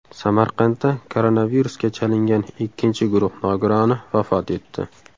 Samarqandda koronavirusga chalingan ikkinchi guruh nogironi vafot etdi.